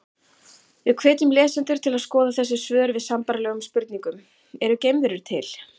Við hvetjum lesendur til að skoða þessi svör við sambærilegum spurningum: Eru geimverur til?